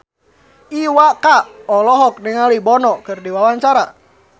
Iwa K olohok ningali Bono keur diwawancara